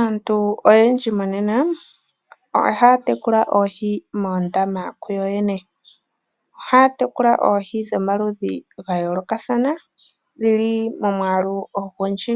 Aantu oyendji monena ohaya tekula oohi moondama kuyo yene, ohaya tekula oohi dhomaludhi ga yoolokathana dhili momwaalu ogundji